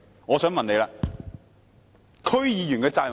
我想問她，區議員的責任是甚麼？